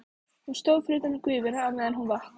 Hún stóð fyrir utan gufuna á meðan hún vatt.